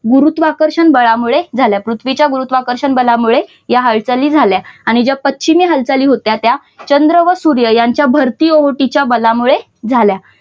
गुरुत्वाकर्षण बदलामुळे झाल्या. पृथ्वीच्या गुरुत्वाकर्षण बदलामुळे या हालचाली झाल्या. आणि ज्या पश्चिमी हालचाली होत्या त्या चंद्र व सूर्य यांच्या भरती-ओहोटीच्या बलामुळे झाल्या.